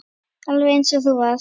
Alveg eins og þú varst.